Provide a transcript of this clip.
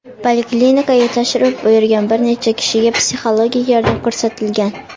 Poliklinikaga tashrif buyurgan bir necha kishiga psixologik yordam ko‘rsatilgan.